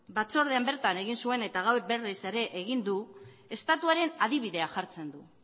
batzordean bertan egin zuen eta gaur berriz ere egin du estatuaren adibidea jartzen du